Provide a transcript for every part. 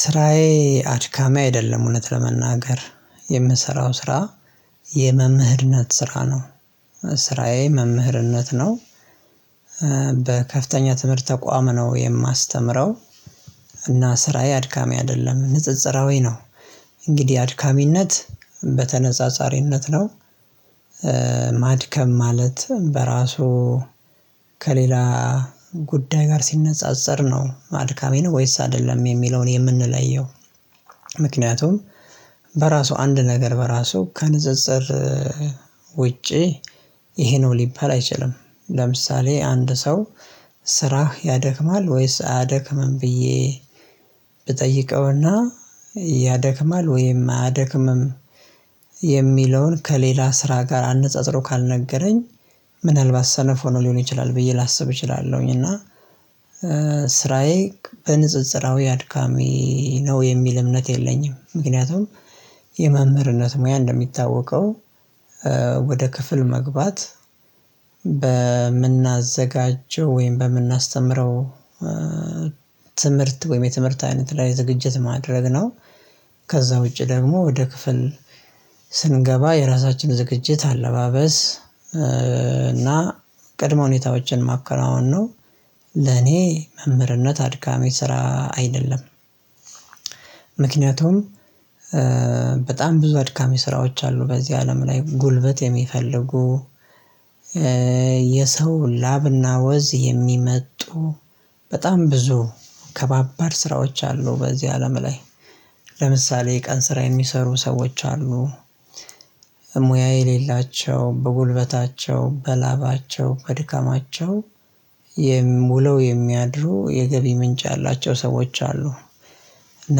ስራዬ አድካሚ አይደለም እውነት ለመናገር የምሰራው ስራ የመምህርነት ስራ ነው ስራዬ መምህርነት ነው። በከፍተኛ ትምህርት ተቋም ነው የማስተምረው። እና ስራዬ አድካሚ አይደለም ንጽጽራዊ ነው። እንግዲህ አድካሚነት በተነጻጻሪነት ነው። ማድከም ማለት በራሱ ከሌላ ጉዳይ ጋር ሲነጻጸር ነው አድካሚ ነው ወይስ አይደለም የሚለውን የምንለየው። ምክንያቱም በራሱ አንድ ነገር በራሱ ከንፅፅር ውጪ ይሄ ነው ሊባል አይችልም። ለምሳሌ አንድ ሰው ስራህ ያደክማል ወይስ አያደክምም ብዬ ብጠይቀውና ያደክማል ወይም አያደክምም የሚለውን ከሌላ ስራ ጋር አነጸጽሮ ካልነገረኝ። ምናልባት ሰነፍ ሆኖ ሊሆን ይችላል ብዬ ላስብ እችላለሁኝ እና። ስራዬ በንጽጽራዊ አድካሚ ነው የሚል እምነት የለኝም። ምክንያቱም የመምህርነት ሙያ እንደሚታወቀው ወደ ክፍል መግባት በምናዘጋጀው ወይም በምናስተምረው ትምህርት ወይም የትምህርት አይነት ላይ ዝግጅት ማድረግ ነው። ከዛ ውጪ ደግሞ ወደ ክፍል ስንገባ የራሳችን ዝግጅት አለባበስ እና ቅድመ ሁኔታዎችን ማከናወን ነው። ለኔ መምህርነት አድካሚ ስራ አይደለም። ምክንያቱም በጣም ብዙ አድካሚ ስራዎች አሉ በዚህ አለም ላይ ጉልበት የሚፈልጉ። የሰው ላብና ወዝ የሚመጡ በጣም ብዙ ከባባድ ስራዎች አሉ በዚህ አለም ላይ። ለምሳሌ የቀን ስራ የሚሰሩ ሰዎች አሉ። ሙያ የሌላቸው በጉልበታቸው በላባቸው በድካማቸው የም ሙለው የሚያድሩ የገቢ ምንጭ ያላቸው ሰዎች አሉ። እና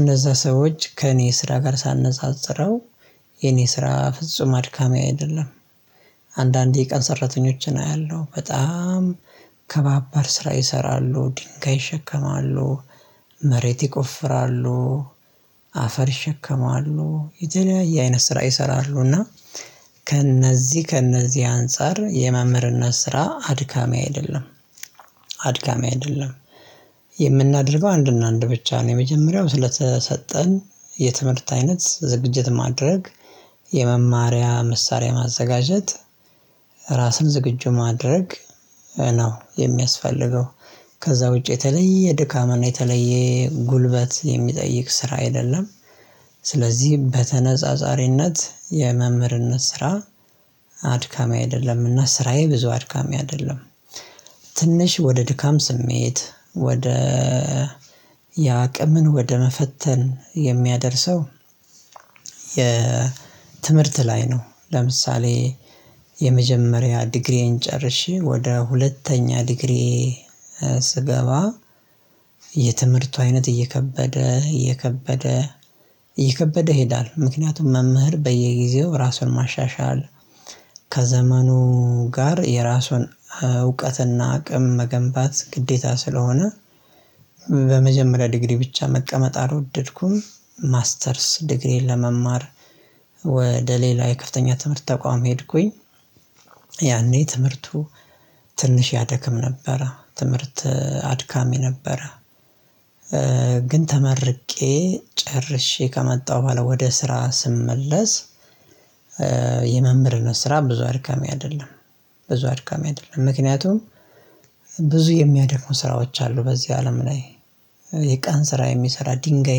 እነዛ ሰዎች ከእኔ ስራ ጋር ሳነጻጽረው የኔ ስራ ፍጹም አድካሚ አይደለም። አንዳንዴ የቀን ሰራተኞችን አያለሁ በጣም ከባባድ ስራ ይሰራሉ ድንጋይ ይሸከማሉ መሬት ይቆፍራሉ። አፈር ይሸከማሉ የተለያየ አይነት ስራ ይሰራሉ እና ከእነዚህ ከእነዚህ አንፃር የመምህርነት ስራ አድካሚ አይደለም። አድካሚ አይደለም የምናደርገው አንድ እና አንድ ብቻ ነው የመጀመሪያው ስለተሰጠን የትምህርት አይነት ዝግጅት ማድረግ የመማሪያ መሳሪያ ማዘጋጀት ራስን ዝግጁ ማድረግ ነው የሚያስፈልገው። ከዛ ውጪ የተለየ ድካም እናየተለየ ጉልበት የሚጠይቅ ስራ አይደለም። ስለዚህ በተነጻጻሪነት የመምህርነት ስራ አድካሚ አይደለምና ስራዬ ብዙ አድካሚ አይደለም። ትንሽ ወደ ድካም ስሜት ወደ የአቅምን ወደ መፈተን የሚያደርሰው የትምህርት ላይ ነው። ለምሳሌ የመጀመሪያ ዲግሪዬን ጨርሼ ወደ ሁለተኛ ዲግሪዬ ስገባ የትምህርቱ አይነት እየከበደ እየከበደ እየከበደ ይሄዳል። ምክንያቱም መምህር በየጊዜው ራሱን ማሻሻል ከዘመኑ ጋር የራሱን እውቀትና አቅም መገንባት ግዴታ ስለሆነ። በመጀመሪያ ዲግሪ ብቻ መቀመጥ አልወደድኩም ማስተርስ ዲግሪዬን ለመማር ወደ ሌላ የከፍተኛ ትምህርት ተቋም ሄድኩኝ። ያኔ ትምህርቱ ትንሽ ያደክም ነበረ ትምህርት አድካሚ ነበረ። ግን ተመርቄ ጨርሼ ከመጣሁ በኋላ ወደ ስራ ስመለስ። የመምህርነት ስራ ብዙ አድካሚ አይደለም። ብዙ አድካሚ አይደለም ምክንያቱም ብዙ የሚያደክሙ ስራዎች አሉ በዚህ አለም ላይ። የቀን ስራ የሚሰራ ድንጋይ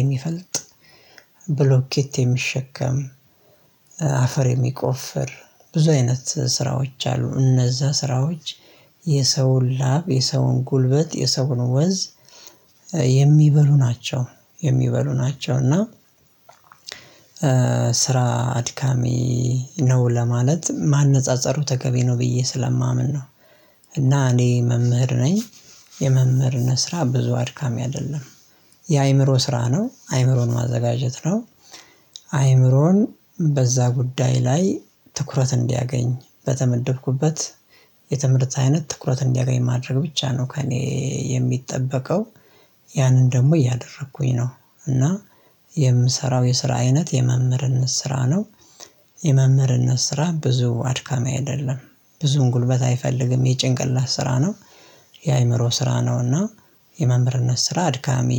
የሚፈልጥ ብሎኬት የሚሸከም አፈር የሚቆፍር ብዙ አይነት ስራዎች አሉ እነዛ ስራዎች የሰውን ላብ የሰውን ጉልበት የሰውን ወዝ። የሚበሉ ናቸው የሚበሉ ናቸው እና ስራ አድካሚ ነው ለማለት ማነፃፀሩ ተገቢ ነው ብዬ ስለማምን ነው። እና እኔ መምህር ነኝ የመምህርነት ስራ ብዙ አድካሚ አይደለም። የአእምሮ ስራ ነው አእምሮን ማዘጋጀት ነው። አእምሮን በዛ ጉዳይ ላይ ትኩረት እንዲያገኝ በተመደብኩበት የትምህርት አይነት ትኩረት እንዲያገኝ ማድረግ ብቻ ነው ከእኔ የሚጠበቀው። ያንን ደግሞ እያደረኩኝ ነው። እና የምሰራው የስራ አይነት የመምህርን ስራ ነው። የመምህርነት ስራ ብዙ አድካሚ አይደለም። ብዙም ጉልበት አይፈልግም የጭንቅላት ስራ ነው። የአእምሮ ስራ ነውና። የመምርነት ስራ አድካሚ